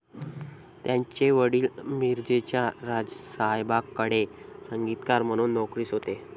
त्यांचे वडील मिरजेच्या राजसाहेबांकडे संगीतकार म्हणून नोकरीस होते.